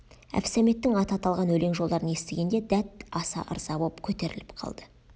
әбсәметтің аты аталған өлең жолдарын естігенде дәт аса ырза боп көтеріліп қалды